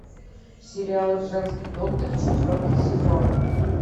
сериал женский доктор четвертый сезон